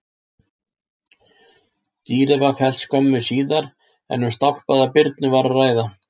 Dýrið var fellt skömmu síðar en um stálpaða birnu var að ræða.